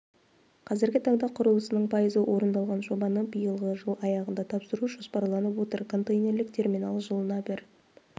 қазіргі таңда құрылысының пайызы орындалған жобаны биылғы жыл аяғында тапсыру жоспарланып отыр контейнерлік терминал жылына бір